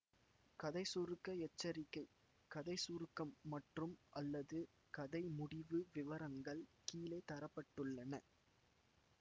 கதை சுருக்க எச்சரிக்கை கதை சுருக்கம் மற்றும்அல்லது கதை முடிவு விவரங்கள் கீழே தர பட்டுள்ளன